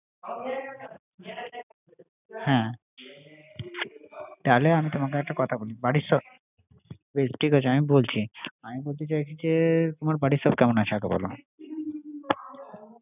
আমি খুব নুতন তুমি তো অনেক বছর ধরে আছো, হ্যা তাহলে আমি তোমাকে একটা কথা বলি ঠিক আছে আমি বলছি আমি বলছি তোমার বাড়ির সাবাই কেমন আছে